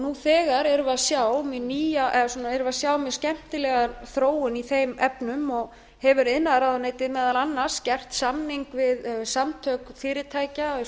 nú þegar erum við að sjá mjög skemmtilega þróun í þeim efnum og hefur iðnaðarráðuneytið meðal annars gert samning við samtök fyrirtækja á